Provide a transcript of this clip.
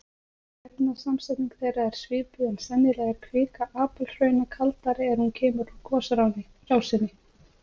Efnasamsetning þeirra er svipuð en sennilega er kvika apalhrauna kaldari er hún kemur úr gosrásinni.